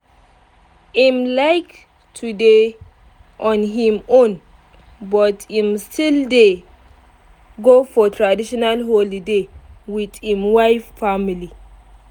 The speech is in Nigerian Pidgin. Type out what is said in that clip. im like to dey on im own but im still dey go for traitional holiday with im wife family